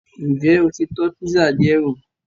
N jẹ o ti tọ́ písà diẹ wò